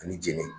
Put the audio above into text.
Ani jeni